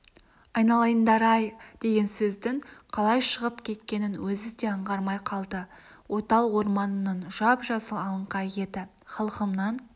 айналайындар-ай деген сөздің қалай шығып кеткенін өзі де аңғармай қалды ойтал орманының жап-жасыл алаңқайы еді халқымнан